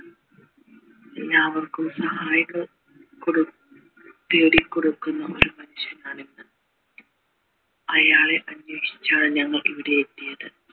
എല്ലാവർക്കും സഹായിക കൊട് നേടികൊടുക്കുന്ന ഒരു മനുഷ്യനാണ് അയാളെ അന്വേഷിച്ചാണ് ഞങ്ങൾ ഇവിടെ എത്തിയത്